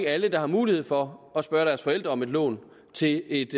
alle der har mulighed for at spørge deres forældre om et lån til et